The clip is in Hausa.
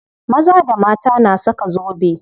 Maza da mata na saka zobe.